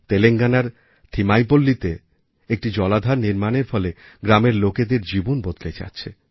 তেলেঙ্গানার থিমাঈপল্লীতে একটি জলাধার নির্মাণের ফলে গ্রামের লোকেদের জীবন বদলে যাচ্ছে